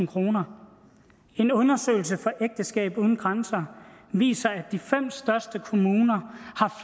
kroner en undersøgelse fra ægteskab uden grænser viser at de fem største kommuner